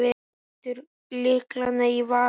Lætur lyklana í vasann.